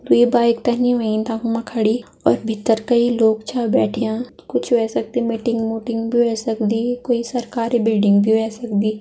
द्वि बाइक तनी व्हयीं तखम खड़ी और भीत्तर कई लोग छ बैठियां। कुछ ह्वै सक्दी मीटिंग मूम्टिंग बि ह्वै सक्दी। कोई सरकारी बिल्डिंग भी ह्वै सक्दी।